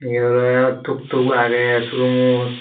iyot oley tuktuk agey showroomot.